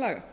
skipulagslaga